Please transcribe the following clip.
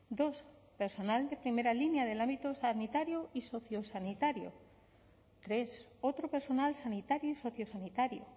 dos personal de primera línea del ámbito sanitario y sociosanitario tres otro personal sanitario y sociosanitario